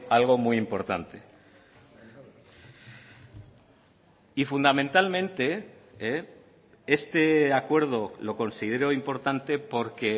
algo muy importante y fundamentalmente este acuerdo lo considero importante porque